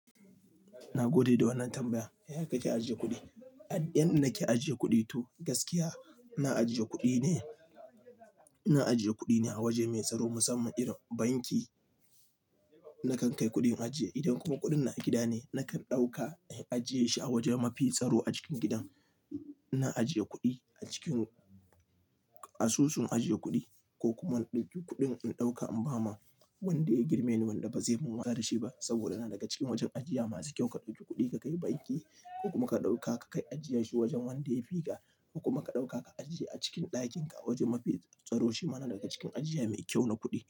Na gode da wannan tambayan. Yaya kake ajiye kuɗi? Yanda nake ajiye kuɗi to gaskiya, ina ajiye kuɗi ne, ina ajiye kuɗi ne a waje mai tsaro musamman irin banki. Nakan kai kuɗin ajiye idan kuma kuɗin na a gida ne nakan ɗauka in ajiye shi a waje mafi tsaro a cikin gidan. Ina ajiye kuɗi a cikin asusun ajiye kuɗi ko kuma in ɗauki kuɗin in ɗauka in ba ma wanda ya girme ni wanda ba zai mun watsa da shi ba saboda yana daga cikin wajen ajiya masu kyau. Ka ɗauki kuɗi ka kai banki ko kuma ka ɗauka ka kai ajiye shi wajen wanda ya fi ka ko kuma ka ɗauka ka ajiye a cikin ɗakin ka wajen mafi tsaro. Shi ma na daga cikin ajiya mai kyau na kuɗi.